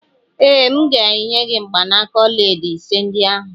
Ee, M ga-enye gị mgbanaka ọlaedo ise ndị ahụ.